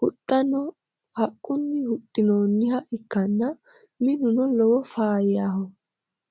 huxxano haqqunni huxxinoonniha ikkanna, minuno lowo faayyaho.